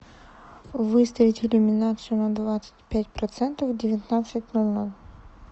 выставить иллюминацию на двадцать пять процентов в девятнадцать ноль ноль